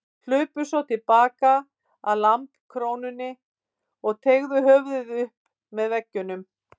Hlupu svo til baka að lambakrónni og teygðu höfuðið upp með veggjunum.